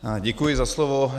Děkuji za slovo.